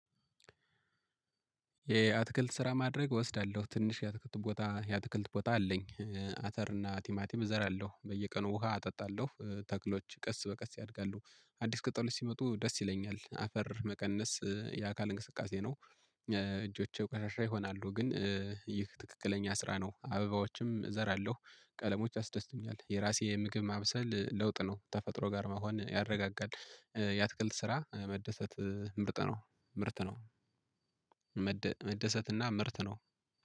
የአትክልት ስራ ማድረግ እወስዳለሁ። ትንሽ የአትክልት ቦታ አለኝ። አተር እና ቲማቲም እዘራለሁ። በየቀኑ ውሃ አጠጣለሁ። ተክሎች ቀስ በቀስ ያድጋሉ። አዲስ ቅጠሎች ሲመጡ ደስ ይለኛል። አፈር መቀነስ የአካል እንቅስቃሴ ነው። እጆቼ ቆሻሻ ይሆናሉ ግን ይህ ትክክለኛ ስራ ነው። አበባዎችም እዘራለሁ። ቀለሞች ያስደስቶኛል። የራሴ የምግብ ማብሰል ለውጥ ነው። ተፈጥሮ ጋር መሆን ያረጋጋል። የአትክልት ስራ መደሰት ምርት ነው። መደሰትና ምርት ነው።